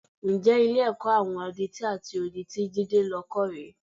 Ǹjẹ́ Ilé-ẹ̀kọ́ àwọn adití àti odi tí Jídé lọ kọ́ rè é?